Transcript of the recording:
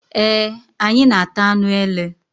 Eé, anyị na-ata anụ ele.